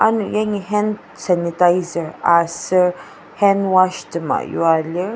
ano yangi hand sanitizer aser hand wash tema yua lir.